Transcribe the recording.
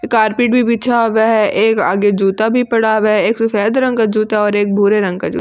carpet भी बिछा हुआ है एक आगे जूता भी पड़ा हुआ है एक सफेद रंग का जूता और एक भूरे रंग का जू --